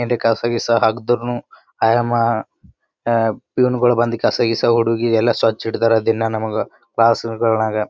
ಏನ್ರೆ ಕಸ ಗೀಸ ಹಾಕ್ದರುನು ಆಯಮ್ಮ ಪ್ಯುವನಗಳು ಬಂದು ಕಸ ಗೀಸ ಹುಡಗಿ ಎಲ್ಲ ಸ್ವಚ್ಛ ಇಡ್ತಾರ ದಿನ ನಮಗ ಕ್ಲಾಸಗಳ್ನಾಗ .